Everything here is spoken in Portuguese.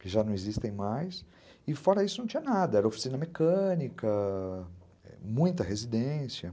que já não existem mais, e fora isso não tinha nada, era oficina mecânica... muita residência.